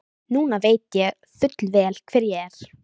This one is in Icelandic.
Mislægt á blágrýtinu liggur jökulruðningur blandaður sjávarseti.